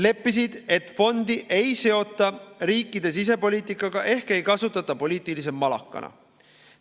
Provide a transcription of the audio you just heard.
Lepiti kokku, et fondi ei seota riikide sisepoliitikaga ehk ei kasutata poliitilise malakana.